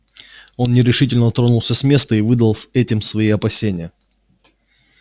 он нерешительно тронулся с места и выдал этим свои опасения